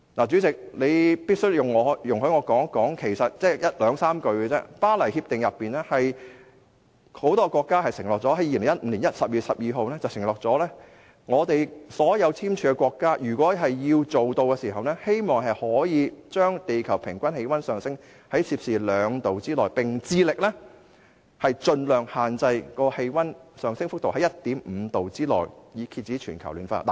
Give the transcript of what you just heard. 主席，你必須容許我說一件事，只有兩三句話：很多國家在2015年12月12日通過的《巴黎協定》中承諾，所有簽署國的目標是把全球平均氣溫升幅控制在低於攝氏兩度之內，並致力將氣溫升幅限制在攝氏 1.5 度之內，以遏止全球暖化。